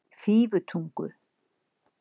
Fífutungu